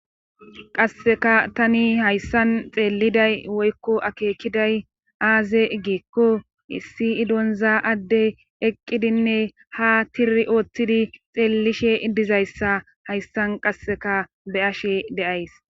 qasseka tani hayssan xeelliday woykko akeekiday aaze iggikko issi idonza adde eqqidinne ha tiri ooththidi xeellishe iddizayssa hayssan qasseka be ashe deays